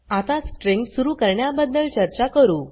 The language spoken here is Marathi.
आता स्ट्रिँग सुरू करण्याबदद्ल चर्चा करू